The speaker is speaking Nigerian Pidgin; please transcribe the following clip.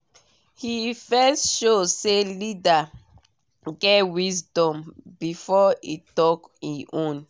he first show say leader get wisdom before e talk e own